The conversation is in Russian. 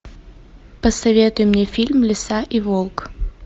посоветуй мне фильм лиса и волк